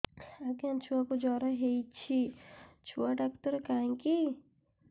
ଆଜ୍ଞା ଛୁଆକୁ ଜର ହେଇଚି ଛୁଆ ଡାକ୍ତର କାହିଁ କି